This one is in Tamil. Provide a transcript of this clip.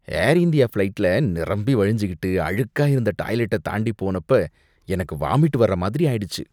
ஏர் இந்தியா ஃபிளைட்ல நிரம்பிவழிஞ்சுகிட்டு அழுக்கா இருந்த டாய்லெட்டை தாண்டி போனப்ப எனக்கு வாமிட் வரமாதிரி ஆயிடுச்சு.